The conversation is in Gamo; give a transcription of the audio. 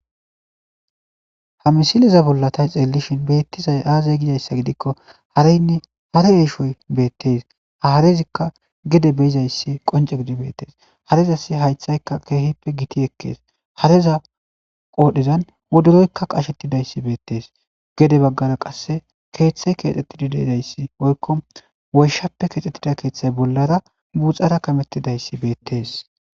Ha misileza bollatay xeellishin beettizay aazay gizayssa gidikko hariynne hare eeshoy beettes haarezikka gede beizayssi qonce gidibettees harezasi haythaykka keehippe giti ekkees hareza qoodhezan woduroykka qashettidayssi beettees gede baggara qasse keeththay keexxettidi deizayssi woykko woyshappe kexxettida keeththay bollara guxara kamettidayssi beettees.